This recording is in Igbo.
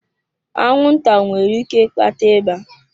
Anwụnta nwere ike ịkpata ịba.